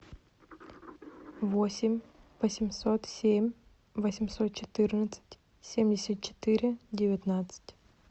восемь восемьсот семь восемьсот четырнадцать семьдесят четыре девятнадцать